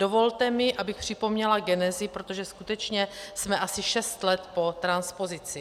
Dovolte mi, abych připomněla genezi, protože skutečně jsme asi šest let po transpozici.